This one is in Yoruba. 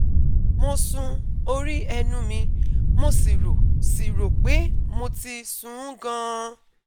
mo sun orí ẹnu mi, mo sì rò sì rò pé mo ti sun ún gan-an